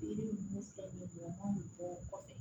Yiri mun filɛ nin ye mɔgɔ kɔfɛ